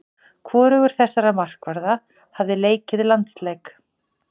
Hvorugur þessara markvarða hafa leikið landsleik.